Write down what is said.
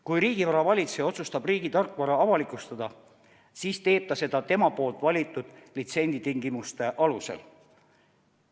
Kui riigivara valitseja otsustab riigi tarkvara avalikustada, siis teeb ta seda enda valitud litsentsitingimuste alusel.